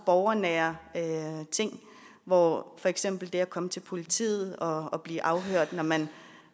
borgernære ting hvor for eksempel det at komme til politiet og og blive afhørt når man